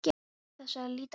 Án þess að líta á hann.